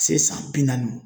Se san bi naani.